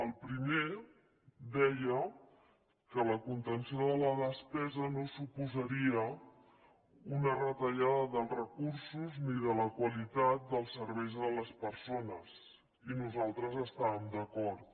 el primer deia que la contenció de la despesa no suposaria una retallada dels recursos ni de la qualitat dels serveis a les persones i nosaltres hi estàvem d’acord